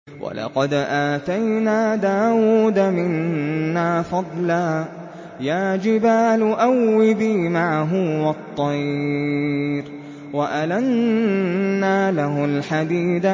۞ وَلَقَدْ آتَيْنَا دَاوُودَ مِنَّا فَضْلًا ۖ يَا جِبَالُ أَوِّبِي مَعَهُ وَالطَّيْرَ ۖ وَأَلَنَّا لَهُ الْحَدِيدَ